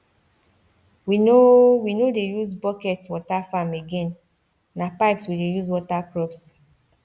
we no we no dey use bucket water farm again na pipes we dey use water crops